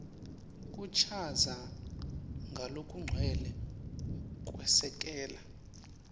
kuchaza ngalokugcwele kwesekela